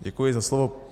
Děkuji za slovo.